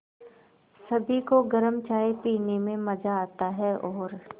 सभी को गरम चाय पीने में मज़ा आता है और